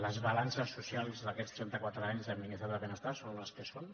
les balances socials d’aquests trenta quatre anys de miniestat del benestar són les que són